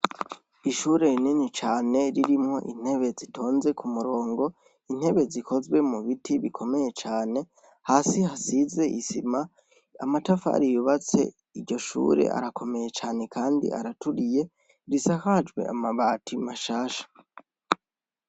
Ishure rinini cane ririmwo intebe zitonze k'umurongo, intebe zikozwe mu biti vy'imbaho hasi hasize isima n'amatafari yubatse iryo shure rirakomeye cane kandi araturiye risakajwe amabati mashasha.